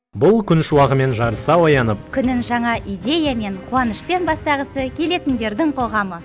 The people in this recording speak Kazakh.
бұл күн шуағымен жарыса оянып күнін жаңа идеямен қуанышпен бастағысы келетіндердің қоғамы